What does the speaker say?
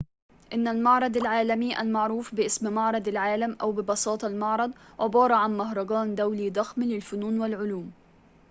إن المعرض العالمي المعروف باسم معرض العالم، أو ببساطة المعرض عبارة عن مهرجان دولي ضخم للفنون والعلوم